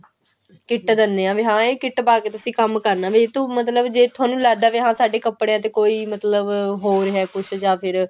kit ਦਿੰਨੇ ਆ ਵੀ ਹਾਂ ਇਹ kit ਪਾ ਕੇ ਤੁਸੀਂ ਕੰਮ ਕਰਨਾ ਵੀ ਤੂੰ ਮਤਲਬ ਜੇ ਤੁਹਾਨੂੰ ਲੱਗਦਾ ਵੀ ਸਾਡੇ ਕੱਪੜਿਆਂ ਤੇ ਮਤਲਬ ਹੋ ਰਿਹਾ ਕੁੱਝ ਜਾਂ ਫੇਰ